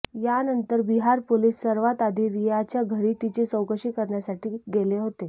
यानंतर बिहार पोलीस सर्वातआधी रियाच्या घरी तिची चौकशी करण्यासाठी गेले होते